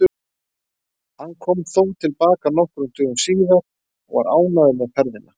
Hann kom þó til baka nokkrum dögum síðar og var ánægður með ferðina.